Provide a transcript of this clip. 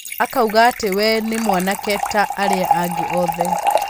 Akauga ati we ni mwanake ta aria angi othe